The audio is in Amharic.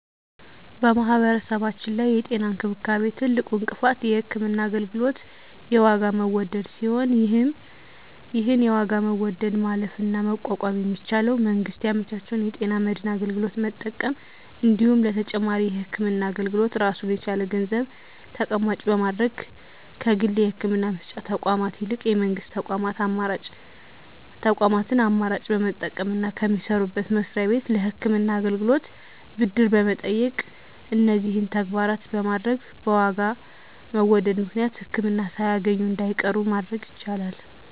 በማህበረሰባችን ላይ የጤና እንክብካቤ ትልቁ እንቅፋት የህክምና አገልግሎት የዋጋ መወደድ ሲሆን ይህን የዋጋ መወደድ ማለፍና መቋቋም የሚቻለው መንግስት ያመቻቸውን የጤና መድን አገልግሎት በመጠቀም እንዲሁም ለተጨማሪ የህክምና አገልግሎት ራሱን የቻለ ገንዘብ ተቀማጭ በማድረግ ከግል የህክምና መስጫ ተቋማት ይልቅ የመንግስት ተቋማትን አማራጭ በመጠቀምና ከሚሰሩበት መስሪያ ቤት ለህክምና አገልግሎት ብድር በመጠየቅ እነዚህን ተግባራት በማድረግ በዋጋ መወደድ ምክንያት ህክምና ሳያገኙ እንዳይቀሩ ማድረግ ይቻላል።